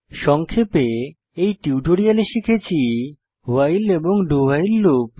সংক্ষেপে এই টিউটোরিয়ালে আমরা শিখেছি ভাইল এবং do ভাইল লুপ